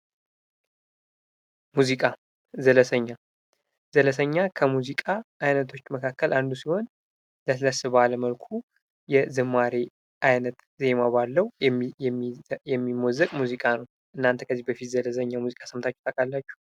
ሙዚቃ ፦ ዘለሰኛ ፦ ዘለሰኛ ከሙዚቃ አይነቶች መካከል አንዱ ሲሆን ለስለስ ባለ መልኩ የዝማሬ ዓይነት ዜማ ባለው የሚሞዘቅ ሙዚቃ ነው ። እናንተ ከዚህ በፊት ዘለሰኛ ሙዚቃ ሰምታችሁ ታውቃላችሁ ?